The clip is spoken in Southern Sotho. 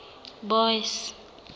boyce